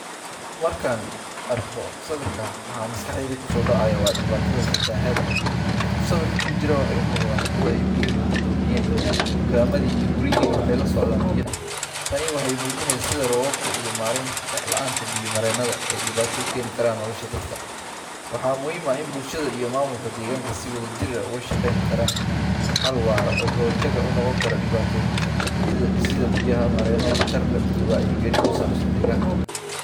Marka aan arko sawirkan, waxa maskaxdayda ku soo dhacaya waa dhibaatada fatahaadda. Dadka sawirka ku jira waxay u muuqdaan kuwo ay biyuhu go'doomiyeen, dukaamadii iyo guryihiina waxay la socdaan biyo. Tani waxay muujinaysaa sida roobabka iyo maarayn la’aanta biyo mareennada ay dhibaato u keeni karaan nolosha dadka. Waxaa muhiim ah in bulshada iyo maamulka deegaanka ay si wadajir ah uga shaqeeyaan xal waara oo ka hortag u noqon kara dhibaatooyinkan, sida dhisidda biyo mareeno waxtar leh iyo wacyigelin ku saabsan deegaanka.